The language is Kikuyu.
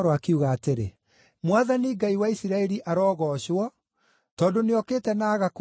“Mwathani Ngai wa Isiraeli arogoocwo, tondũ nĩokĩte na agakũũra andũ ake.